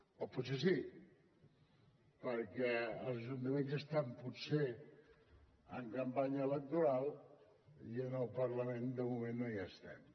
o potser sí perquè als ajuntaments ja estan potser en campanya electoral i en el parlament de moment no hi estem